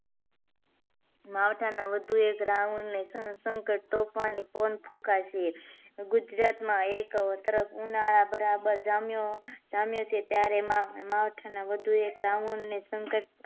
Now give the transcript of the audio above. માવઠા ના વધુ એક round ને સંકટ તોફાની પવન ફૂંકાશે ગુજરાતમાં એક તરફ ઉનાળા બરાબર જામ્યો છે ત્યારે માવઠા ના વધુ એક round ને સંકટ